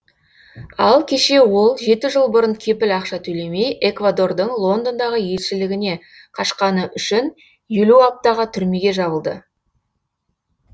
ал кеше ол жеті жыл бұрын кепіл ақша төлемей эквадордың лондондағы елшілігіне қашқаны үшін елу аптаға түрмеге жабылды